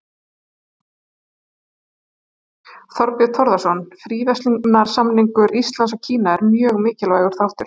Þorbjörn Þórðarson: Fríverslunarsamningur Íslands og Kína er mjög mikilvægur þáttur?